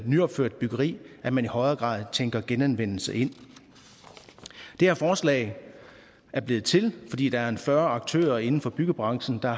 nyopført byggeri at man i højere grad tænker genanvendelse ind det her forslag er blevet til fordi der er fyrre aktører inden for byggebranchen der